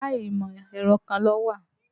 Yàrá ìmọ̀-ẹ̀rọ kan ló wà.